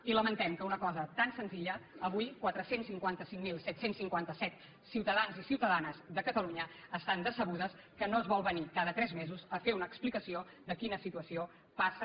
i lamentem que una cosa tan senzilla avui quatre cents i cinquanta cinc mil set cents i cinquanta set ciutadans i ciutadanes de catalunya estan decebuts que no es vol venir cada tres mesos a fer una explicació de quina situació passa